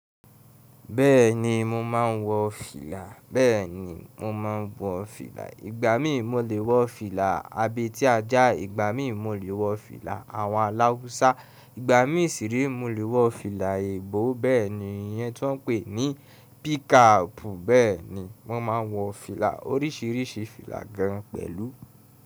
Bẹ́ẹ̀ni mo ma ń wọ fìlà, bẹ́ẹ̀ni mo ma ń wọ fìlà. Ìgbà míì mo lè wọ fìlà abetíajá. Ìgbà míì mo lè wọ fìlà àwọn aláusa. Ìgbà míì sì re mo lè wọ fìlà èébò. Bẹ́ẹ̀ni iyẹn tí wọ́n ń pè ní pickup, bẹ́ẹ̀ni mo ma ń wọ fìlà oríṣiríṣi fìlà gan pẹ̀lú.